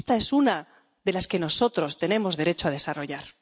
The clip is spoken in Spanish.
Y esta es una de las que nosotros tenemos derecho a desarrollar.